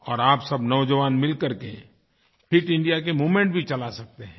और आप सब नौजवान मिल करके फिट इंडिया कामूवमेंट भी चला सकते हैं